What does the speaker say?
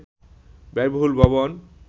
ব্যয়বহুল ভবন